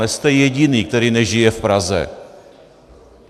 Nejste jediný, který nežije v Praze.